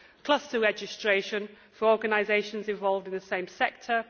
Also, cluster registration for organisations involved in the same sector